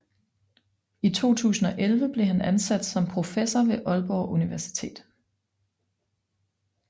I 2011 blev han ansat som professor ved Aalborg Universitet